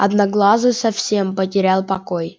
одноглазый совсем потерял покой